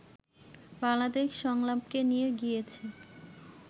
বাংলাদেশ সংলাপকে নিয়ে গিয়েছি